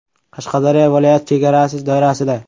Qashqadaryo viloyati chegarasi doirasida.